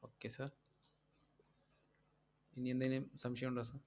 okay sir ഇനിയെന്തേലും സംശയമുണ്ടോ sir